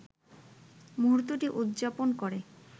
মুহূর্তটি উদযাপন করে